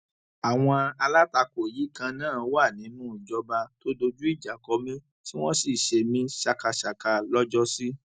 àwọn alátakò yìí kan náà wà nínú ìjọba tó dojú ìjà kọ mí tí wọn sì ṣe mí ṣàkàṣàkà lọjọsí